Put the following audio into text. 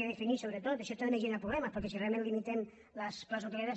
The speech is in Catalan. i això també genera problemes perquè si realment limitem les places hoteleres